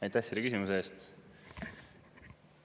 Aitäh selle küsimuse eest!